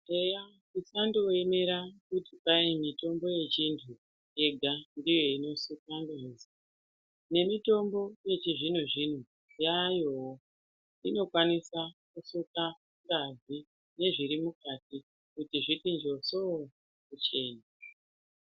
Eya tisandoemera kuti kwahi mitombo yechintu yega ndiyo inosuka ngazi. Nemitombo yechizvino-zvino yaayowo inokwanisa kusuka ngazi nezviri mukati kuti zviti njoso-o kuchena.